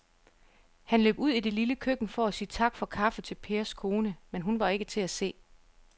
Han løb ud i det lille køkken for at sige tak for kaffe til Pers kone, men hun var ikke til at se.